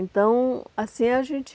Então, assim, a gente...